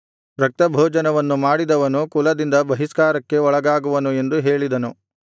ರಕ್ತಭೋಜನವನ್ನು ಮಾಡಿದವನು ಕುಲದಿಂದ ಬಹಿಷ್ಕಾರಕ್ಕೆ ಒಳಗಾಗುವನು ಎಂದು ಹೇಳಿದನು